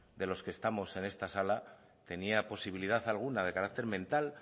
de los que estamos en esta sala tenía posibilidad alguna de carácter mental